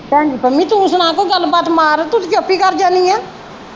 ਭੈਣਜੀ ਪੰਮੀ ਤੂੰ ਸੁਣਾ ਕੋਈ ਗੱਲ ਬਾਤ ਮਾਰ ਤੂੰ ਤੇ ਚੁੱਪ ਈ ਕਰ ਜਾਣੀ ਏ।